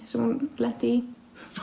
sem hún lenti í